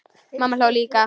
Mamma hló líka.